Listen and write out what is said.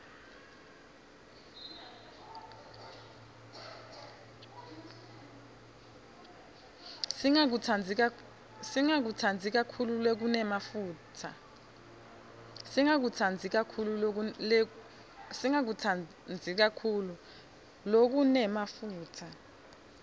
singakutsandzi kakhulu lokunemafutsa